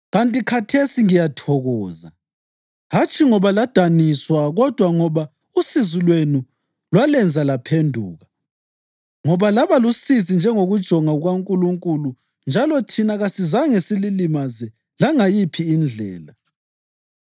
ikanti khathesi ngiyathokoza, hatshi ngoba ladaniswa kodwa ngoba usizi lwenu lwalenza laphenduka. Ngoba laba lusizi njengokujonga kukaNkulunkulu njalo thina kasizange sililimaze langayiphi indlela.